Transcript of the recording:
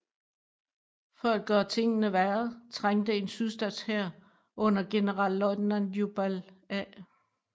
For at gøre tingene værre trængte en sydstatshær under generalløjtnant Jubal A